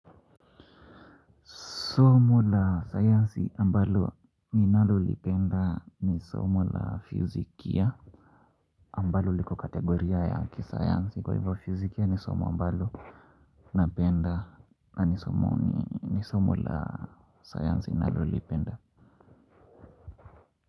Somo la sayansi ambalo ninalolipenda ni somo la physikia ambalo liko kategoria ya kisayansi kwa hivo physikia ya ni somo ambalo napenda ni somu la sayansi nalolipenda.